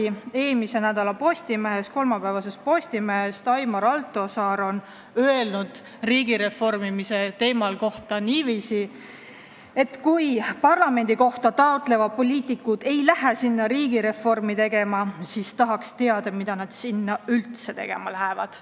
Ühes eelmise nädala Postimehes on Aimar Altosaar riigireformimise kohta öelnud, et kui parlamendikohta taotlevad poliitikud ei lähe sinna riigireformi tegema, siis ta tahaks teada, mida nad sinna üldse tegema lähevad.